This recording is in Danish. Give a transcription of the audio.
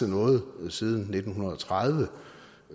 noget siden nitten tredive